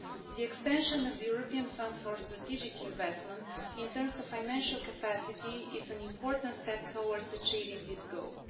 The extension of the European Fund for Strategic Investment in terms of financial capacity is an important step towards achieving this goal.